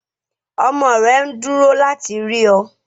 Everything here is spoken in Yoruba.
Ọmọ rẹ̀ nduro láti rí ọ